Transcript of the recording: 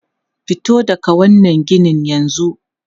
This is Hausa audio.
Fito daga wannan ginin yanzu!